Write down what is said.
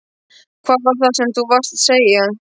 Hvað var það sem þú varst að segja?